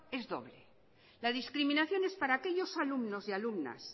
es doble la discriminación es para aquellos alumnos y alumnas